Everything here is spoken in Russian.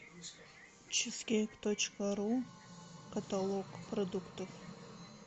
чизкейк точка ру каталог продуктов